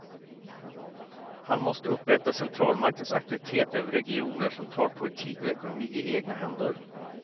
Han måste upprätta centralmaktens auktoritet över regioner som tar politik och ekonomi i egna händer.